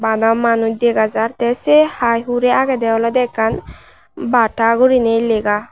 bana manuj dega jar te se hai hure agede olode ekkan bata gurinei lega.